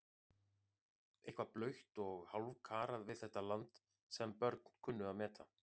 Eitthvað blautt og hálfkarað við þetta land sem börn kunnu að meta.